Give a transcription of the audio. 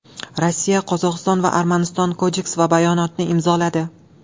Rossiya, Qozog‘iston va Armaniston kodeks va bayonotni imzoladi.